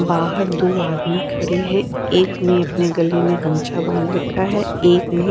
बाहर दो आदमी खड़े हैं एक ने अपने गले में गमछा बांध रखा है एक ने--